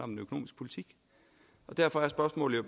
den økonomiske politik derfor er spørgsmålet